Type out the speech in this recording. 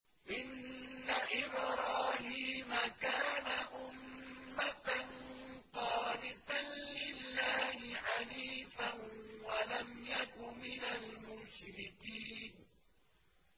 إِنَّ إِبْرَاهِيمَ كَانَ أُمَّةً قَانِتًا لِّلَّهِ حَنِيفًا وَلَمْ يَكُ مِنَ الْمُشْرِكِينَ